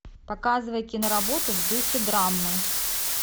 показывай киноработу в духе драма